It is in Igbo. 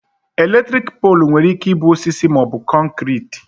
Elektriki poolu nwere ike ịbụ osisi maọbụ kọnkriti